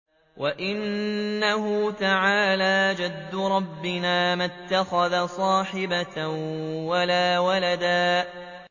وَأَنَّهُ تَعَالَىٰ جَدُّ رَبِّنَا مَا اتَّخَذَ صَاحِبَةً وَلَا وَلَدًا